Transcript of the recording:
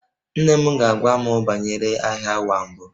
Nne m ga-agwa m banyere Agha Ụwa Mbụ